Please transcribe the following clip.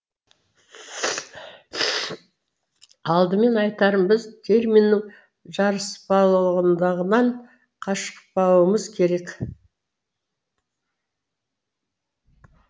алдымен айтарым біз терминнің жарыспалылығынан қашпауымыз керек